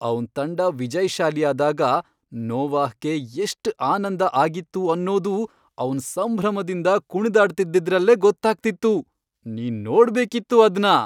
ಅವ್ನ್ ತಂಡ ವಿಜಯ್ಶಾಲಿಯಾದಾಗ ನೋವಾಹ್ಗೆ ಎಷ್ಟ್ ಆನಂದ ಆಗಿತ್ತು ಅನ್ನೋದು ಅವ್ನ್ ಸಂಭ್ರಮದಿಂದ ಕುಣ್ದಾಡ್ತಿದ್ದಿದ್ರಲ್ಲೇ ಗೊತ್ತಾಗ್ತಿತ್ತು, ನೀನ್ ನೋಡ್ಬೇಕಿತ್ತು ಅದ್ನ!